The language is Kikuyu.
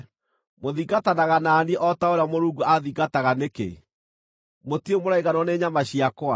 Mũthingatanaga na niĩ o ta ũrĩa Mũrungu aathingataga nĩkĩ? Mũtirĩ mũraiganwo nĩ nyama ciakwa?